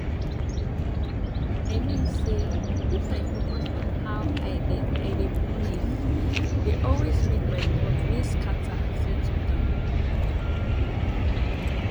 i mean say if i focus on how i dey i dey breathee dey always make my thoughts wey scatter settle down